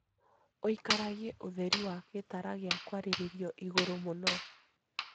ũikaragie ũtheri wa gĩtara gĩa kwarĩrio igũrũ mũno